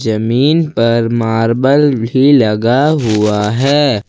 जामनी पर मार्बल भी लगा हुआ है।